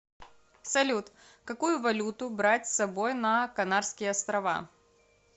салют какую валюту брать с собой на канарские острова